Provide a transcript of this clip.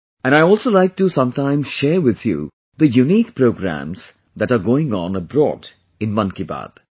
And I also like to sometimes share with you the unique programs that are going on abroad in 'Mann Ki Baat'